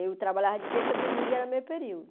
Eu trabalhava de terça a domingo, era meio período.